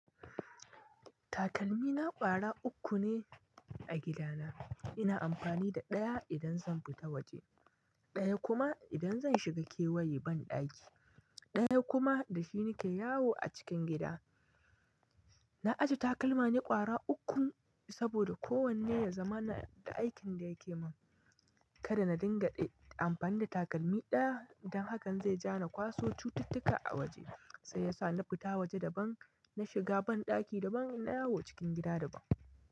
Takalmi na ƙwara uku ne a gida na. Ina amfani da ɗaya idan zan fita waje, ɗaya kuma idan zan shiga kewaye banɗaki, ɗaya kuma da shi nake yawo a cikin gida. Na ajiye takalma ni ƙwara uku saboda kowanne ya zamana da aikin da yake mun. Kada na dinga amfani da takalmi ɗaya don hakan zai ja na kwaso cututtuka a waje. Sai yasa na fita waje daban, na shiga banɗaki daban, naa yawo cikin gida daban.